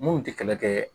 Mun tɛ kɛlɛ kɛ